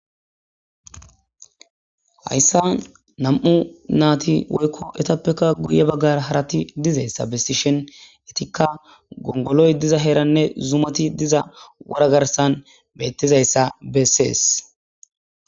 Hayissan nam'u nati woyikko etapekka guye baggara dizayissa besishshin etikka gongoloy diza heranne zumati diza wora garssan betizayissa besses